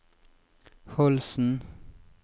Holsen